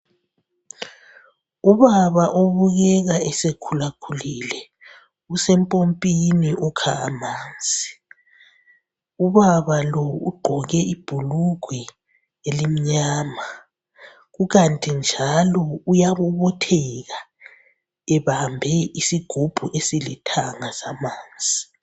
Ubaba obukeka esekhulakhulile, usempopini ukha amanzi. Ubaba lo ugqoke ibhulugwe elimnyama ukanti njalo uyabobotheka ebambe isigubhu esilithanga samanzi.